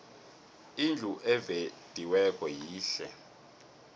indlu evediweko yihle